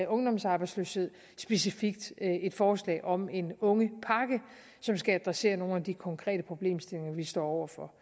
ungdomsarbejdsløshed specifikt et forslag om en ungepakke som skal adressere nogle af de konkrete problemstillinger vi står over for